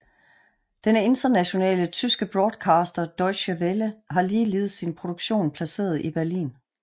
Den internationale tyske broadcaster Deutsche Welle har ligeledes sin produktion placeret i Berlin